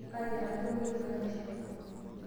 Aatiaka kemuoi enkanashe enye.